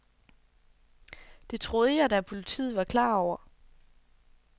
Det troede jeg da, at politiet var klar over.